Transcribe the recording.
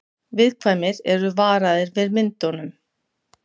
Viðkvæmir eru varaðir við myndunum